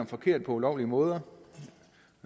forkert på ulovlige måder